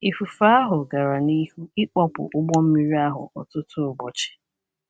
Ifufe ahụ gara n’ihu ịkpọpụ ụgbọ mmiri ahụ ọtụtụ ụbọchị.